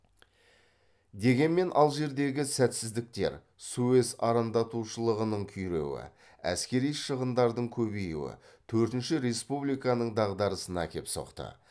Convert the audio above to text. дегенмен алжирдегі сәтсіздіктер суэц арандатушылығының күйреуі әскери шығындардың көбеюі төртінші республиканың дағдарысына әкеп соқты